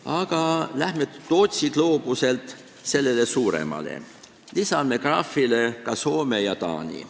Aga lähme Tootsi gloobuse juurest selle suurema juurde, lisame graafile ka Soome ja Taani.